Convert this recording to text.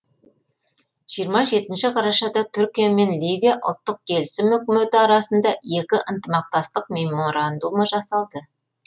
жиырма жетінші қарашада түркия мен ливия ұлттық келісім үкіметі арасында екі ынтымақтастық меморандумы жасалды